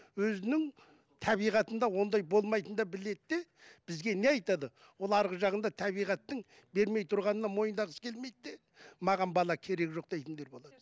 өзінің табиғатында ондай болмайтын да біледі де бізге не айтады олар арғы жағында табиғаттың бермей тұрғанын мойындағысы келмейді де маған бала керегі жоқ дейтіндер болады